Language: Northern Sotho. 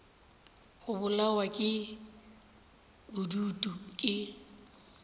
go bolawa ke bodutu ke